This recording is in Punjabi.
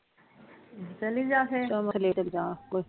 ਚਲੀ ਜਾਂ ਫੇਰ